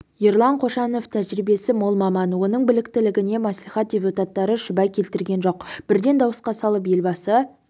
ерлан қошанов тәжірибесі мол маман оның біліктілігіне мәслихат депутаттары шүбә келтірген жоқ бірден дауысқа салып елбасы